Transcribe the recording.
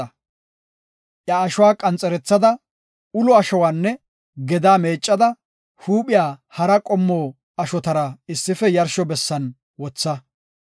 Iya ashuwa qanxerethada, ulo ashuwanne gedaa meeccada, huuphiya hara qommo ashotara issife yarsho bessan wotha.